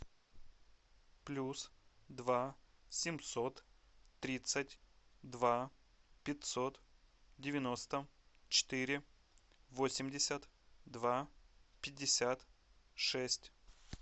плюс два семьсот тридцать два пятьсот девяносто четыре восемьдесят два пятьдесят шесть